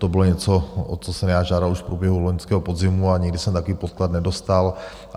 To bylo něco, o co jsem já žádal už v průběhu loňského podzimu, a nikdy jsem takový podklad nedostal.